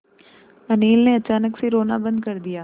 अनिल ने अचानक से रोना बंद कर दिया